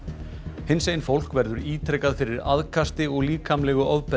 hinsegin fólk verður ítrekað fyrir aðkasti og líkamlegu ofbeldi